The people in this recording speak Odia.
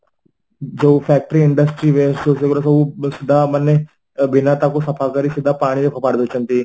ଯୋଉ factory industry base ସେଇଗୁଡ଼ା ସବୁ ବେଶୀ ମାନେ ବିନା ତାକୁ ସଫାକରି ସିଧା ପାଣିରେ ଫୋପାଡ଼ି ଦଉଛନ୍ତି